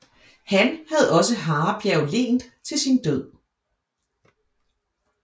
Han havde også Harebjerg Len til sin død